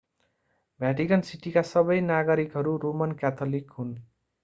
भ्याटिकन सिटीका सबै नागरिकहरू रोमन क्याथोलिक हुन्